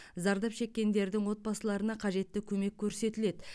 зардап шеккендердің отбасыларына қажетті көмек көрсетіледі